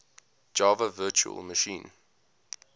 java virtual machine